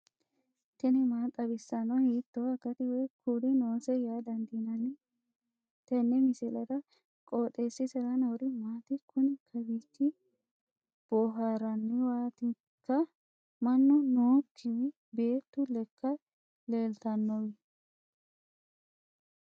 tini maa xawissanno ? hiitto akati woy kuuli noose yaa dandiinanni tenne misilera? qooxeessisera noori maati? kuni kawiichi booharranniwaatikka mannu nookiwi beetu lekka leeltanowi